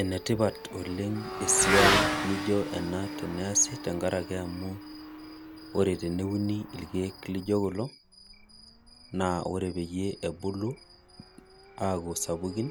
Enetipat oleng esiai nijo kuna ore temeuni irkiek lijo kulo ore pebulu aaku sapukin